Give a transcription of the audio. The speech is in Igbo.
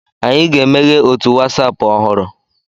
Anyị ga emeghe otu Wasapụ ọhụrụ